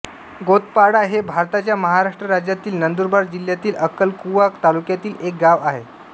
गोतपाडा हे भारताच्या महाराष्ट्र राज्यातील नंदुरबार जिल्ह्यातील अक्कलकुवा तालुक्यातील एक गाव आहे